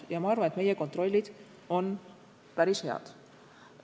Ja ma arvan, et meie kontrollid on päris head.